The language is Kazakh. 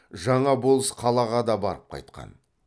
жаңа болыс қалаға да барып қайтқан